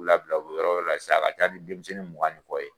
K'u labila, u bi yɔrɔ wɛrɛ la sisan, a ka ca ni denmisɛnnin mugan ni kɔ ye